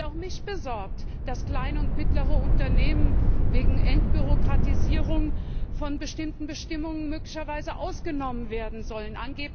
Auch mich besorgt, dass kleine und mittlere Unternehmen wegen Entbürokratisierung von bestimmten Bestimmungen möglicherweise ausgenommen werden sollen.